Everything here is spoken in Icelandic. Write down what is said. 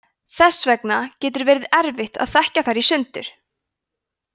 þess vegna getur verið erfitt að þekkja þær í sundur